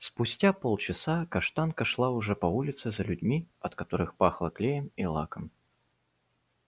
спустя полчаса каштанка шла уже по улице за людьми от которых пахло клеем и лаком